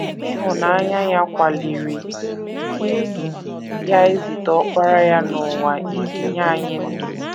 Ịhụnanya ya kwaliri ya izite Ọkpara ya n’ụwa iji nye anyị ndụ.